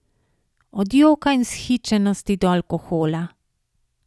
Od joka in vzhičenosti do alkohola ...